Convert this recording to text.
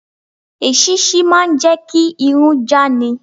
Èṣíṣí máà ń jẹ́ kí irun já ni.